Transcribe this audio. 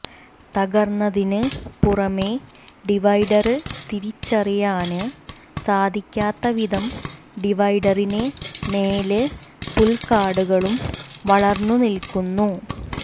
തകര്ന്നതിന് പുറമേ ഡിവൈഡര് തിരിച്ചറിയാന് സാധിക്കാത്ത വിധം ഡിവൈഡറിന് മേല് പുല്കാടുകളും വളര്ന്നു നില്ക്കുന്നു